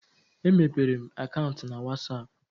E mepere m akaụntụ na whatsapp